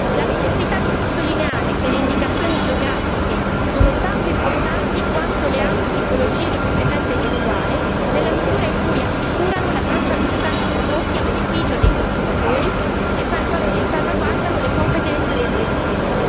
la necessità di sottolineare che le indicazioni geografiche sono tanto importanti quanto le altre tipologie di proprietà intellettuale, nella misura in cui assicurano la tracciabilità dei prodotti a beneficio dei consumatori e salvaguardano le competenze dei produttori